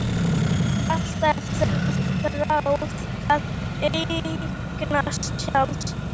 Hún hefur alltaf þráð að eignast tjald.